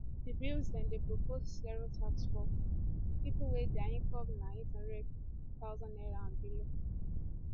di bill dey dey propose zero tax for pipo wey dia incomes na n800000 naira and below